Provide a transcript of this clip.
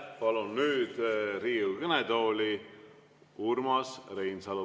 Palun nüüd Riigikogu kõnetooli Urmas Reinsalu.